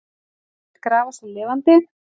Lét grafa sig lifandi